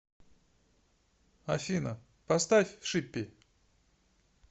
афина поставь шиппи